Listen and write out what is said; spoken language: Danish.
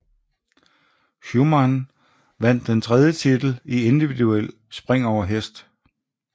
Schuhmann vandt den tredje titel i individuel spring over hest